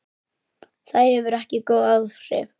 Það hefur ekki góð áhrif.